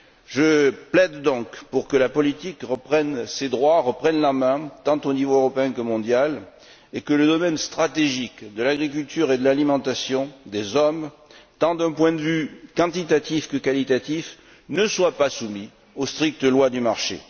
Je plaide donc pour que la politique reprenne ses droits, reprenne la main tant au niveau européen que mondial et que le domaine stratégique de l'agriculture et de l'alimentation humaine, tant d'un point de vue quantitatif que qualitatif, ne soit pas soumis aux strictes lois du marché.